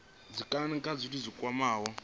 dzikhonani kha zwithu zwi kwamaho